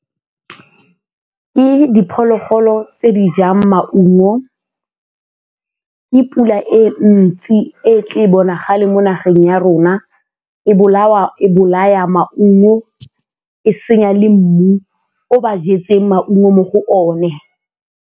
Ke diphologolo tse di jang maungo, ke pula e ntsi e tle bonagale mo nageng ya rona e bolaya maungo, e senya le mmu o ba jetseng maungo mo go one.